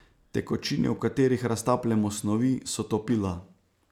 Tekočine, v katerih raztapljamo snovi, so topila.